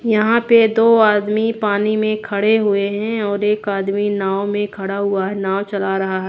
यहां पे दो आदमी पानी में खड़े हुए हैं और एक आदमी नाव में खड़ा हुआ है नाव चला रहा--